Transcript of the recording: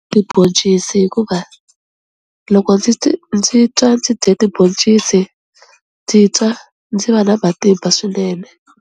Tibhoncisi hikuva loko ndzi ndzi twa ndzi dye tiboncisi ndzi twa ndzi va na matimba swinene.